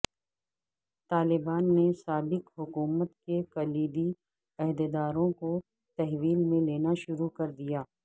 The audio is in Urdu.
طالبان نے سابق حکومت کے کلیدی عہدے داروں کو تحویل میں لینا شروع کر دیا